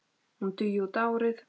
Hún dugi út árið.